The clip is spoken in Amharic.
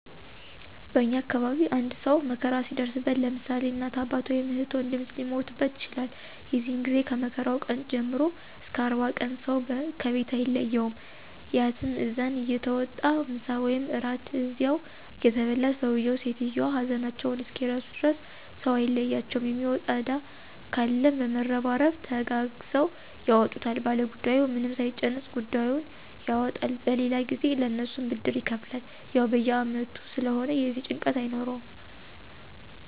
በእኛ አካባቢ አንድ ሰው መከራ ሲደርስበት ለምሳሌ እናት፣ አባት ወይም እህት ወንድም ሊሞትበት ይችላል የዚህ ጊዜ ከመከራው ቀን ጀምሮ እስከ 40 ቀን ሰው ከቤት አይለየውም/ያትም እዝን እየተዋጣ ምሳ ወይም እራት እዚያው እየተበላ ሰውየው/ሰትዮዋ ሀዘናቸውን እስኪረሱ ድረስ ሰው አይለያቸውም የሚወጣ እዳ ካለም በመረባረብ ተጋግዘው ያወጡታል ባለጉዳዩ ምንም ሳይጨነቅ ጉዳዩን ያወጣል በሌላ ጊዜ ለእነሱም ብድር ይከፍላል። ያው በየ አመቱ ስለሆነ የዚህ ጭንቀት የለውም።